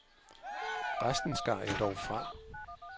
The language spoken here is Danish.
Resten skar jeg dog fra.